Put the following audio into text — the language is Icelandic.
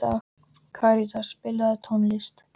Karítas, spilaðu tónlist.